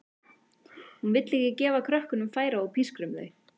Hún vill ekki gefa krökkunum færi á að pískra um þau.